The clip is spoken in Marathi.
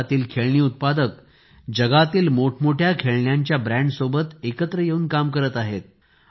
भारतातील खेळणी उत्पादक जगातील मोठमोठ्या खेळण्यांच्या ब्रँडसोबत एकत्र येऊन काम करत आहेत